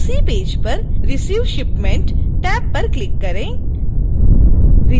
उसी पेज पर receive shipment tab पर क्लिक करें